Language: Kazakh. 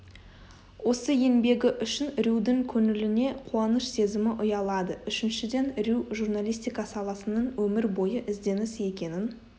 осы еңбегі үшін рьюдің көңіліне қуаныш сезімі ұялады үшіншіден рью журналистика саласының өмір бойы ізденіс екенін